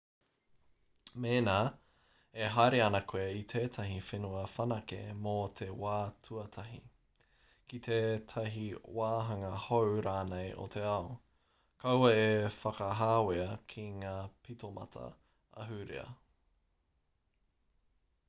mēnā e haere ana koe i tētahi whenua whanake mō te wā tuatahi ki tētahi wāhanga hou rānei o te ao kaua e whakahāwea ki ngā pitomata ahurea